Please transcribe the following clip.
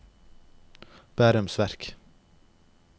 Bærums Verk